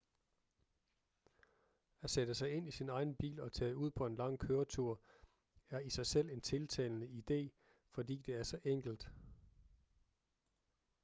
at sætte sig ind i sin egen bil og tage ud på en lang køretur er i sig selv en tiltalende idé fordi det er så enkelt